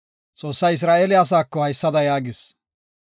Xoossay Isra7eele asaako haysada yaagis;